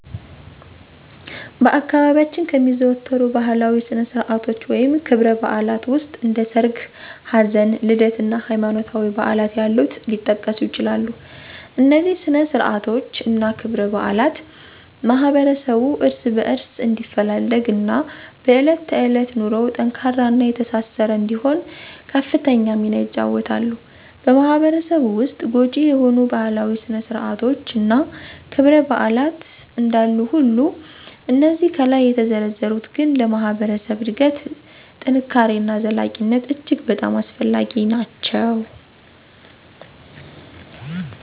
በአካባቢያችን ከሚዘወተሩ ባህላዊ ስነ-ስርዓቶች ወይም ክብረ-በዓላት ዉስጥ እንደ ሠርግ፣ ሀዘን፣ ልደት እና ሀይማኖታዊ በዓላት ያሉት ሊጠቀሱ ይችላሉ፤ እነዚህ ስነ-ስርዓቶች እና ክብረ-በዓላት ማህበረሠቡ እርስ በእርስ እንዲፈላለግ እና በእለት ተዕለት ኑሮው ጠንካራ እና የተሳሰረ እንዲሆን ከፍተኛ ሚና ይጫወተሉ። በማህበረሰቡ ዉስጥ ጐጂ የሆኑ ባህላዊ ስነ- ስርአቶች እና ክብረ -በዓላት እንዳሉ ሁሉ እነዚህ ከላይ የተዘረዘሩት ግን ለማህበረሰብ እድገት፣ ጥንካሬ እና ዘላቂነት እጅግ በጣም አስፈላጊ ናቸው።